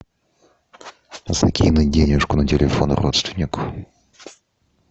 закинуть денежку на телефон родственнику